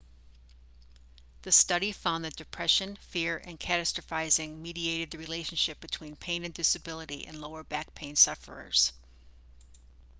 the study found that depression fear and catastrophising mediated the relationship between pain and disability in lower back pain sufferers